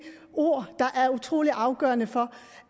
ord der er utrolig afgørende for